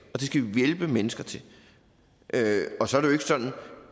vi hjælpe mennesker til og så